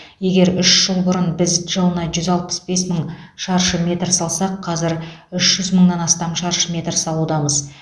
егер үш жыл бұрын біз жылына жүз алпыс бес мың шаршы метр салсақ қазір үш жүз мыңнан астам шаршы метр салудамыз